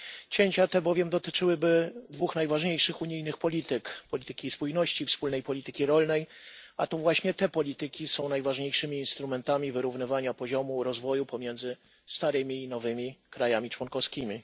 Cięcia te bowiem dotyczyłyby dwóch najważniejszych unijnych polityk polityki spójności, wspólnej polityki rolnej, a to właśnie te polityki są najważniejszymi instrumentami wyrównywania poziomu rozwoju pomiędzy starymi i nowymi krajami członkowskimi.